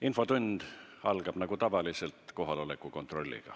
Infotund algab nagu tavaliselt kohaloleku kontrolliga.